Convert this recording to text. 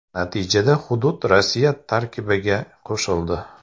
Natijada hudud Rossiya tarkibiga qo‘shildi.